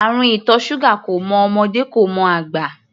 Àrùn ìtọ̀ ṣúgà kò mọ ọmọdé, kò mọ àgbà.